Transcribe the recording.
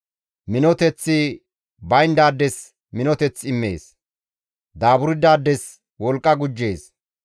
Minoteththi bayndaades minoteth immees; Daaburdayssas wolqqa gujjees.